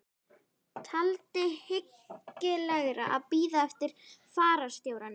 Taldi hyggilegra að bíða eftir fararstjóranum.